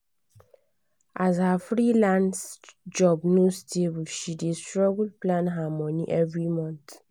as her freelance job no stable she dey struggle plan her money every month.